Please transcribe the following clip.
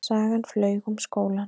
Sagan flaug um skólann.